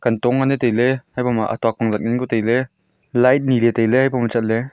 dong ani tailey habo ma atok ang zak ngan kya tailey light nile tailey habo chatley--